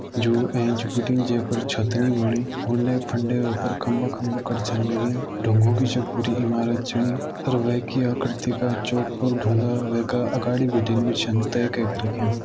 जू एंच बिटिन जै पर छत नी बणी उंडे फुंडे वै पर खम्बा खम्बा कर छ लग्यां डुंगो की छ पूरी इमारत चीणी अर वै की आकर्ति का चौकर डुंगा वै का अगाड़ी बिटिन भी छन तै कैक रख्यां।